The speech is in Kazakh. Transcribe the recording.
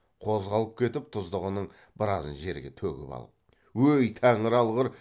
қозғалып кетіп тұздығының біразын жерге төгіп алып өй тәңір алғыр